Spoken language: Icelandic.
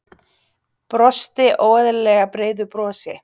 Brosti óeðlilega breiðu brosi.